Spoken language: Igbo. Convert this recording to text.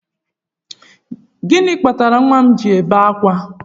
Gịnị kpatara nwa m ji na-ebe ákwà?